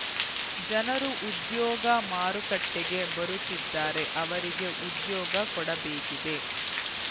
ಜನರು ಉದ್ಯೋಗ ಮಾರುಕಟ್ಟೆಗೆ ಬರುತ್ತಿದ್ದಾರೆ ಅವರಿಗೆ ಉದ್ಯೋಗ ಕೊಡಬೇಕಿದೆ